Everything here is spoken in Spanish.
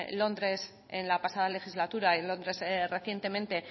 londres en la pasada legislatura en londres recientemente